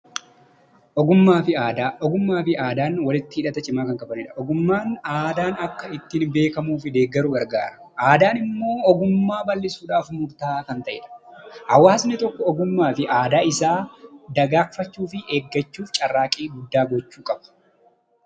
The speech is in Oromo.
Ogummaa fi Aadaa: Ogummaa fi Aadaan walitti hidhata cimaa kan qabani dha. Ogummaan aadaan akka ittiin beekamuu fi deeggaru gargaara. Aadaan immoo ogummaa bal'isuudhaaf murta'aa kan ta'e dha. Hawaasni tokko ogummaa fi aadaa isaa dagagfachuu fi eeggachuuf carraaqqii guddaa gochuu qabu.